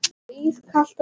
Og ískalt að auki.